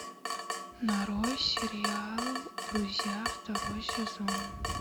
нарой сериал друзья второй сезон